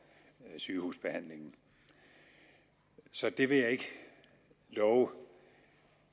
sygehusbehandlingen så det vil jeg ikke love